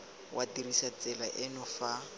wa dirisa tsela eno fa